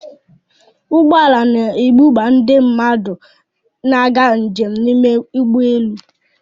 Ụgbọ ala na-ebuba ndị na-aga njem n'ime ụgbọ elu.